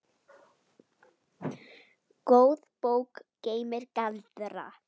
Góð bók geymir galdra.